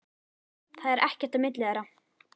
Það er ekkert á milli þeirra.